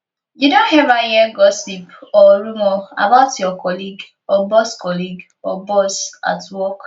you don ever hear gossip or rumor about your colleague or boss colleague or boss at work